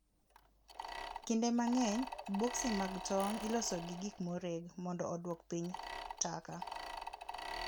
kinde mangeny boxi mag tong ilosoga gi gikmoreg mondo oduok piny taka